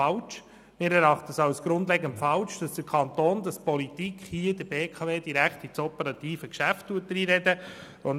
Wir erachten es als grundlegend falsch, dass der Kanton, die Politik hier der BKW direkt ins operative Geschäft hineinredet.